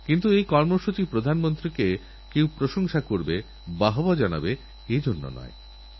এইঅভিযান অনুসারে প্রত্যেক মাসের নয় তারিখে সকল গর্ভবতী মহিলাদের সরকারীস্বাস্থ্যকেন্দ্রে বিনা খরচে পরীক্ষা করা যাবে